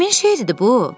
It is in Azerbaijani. Kimin şeiridir bu?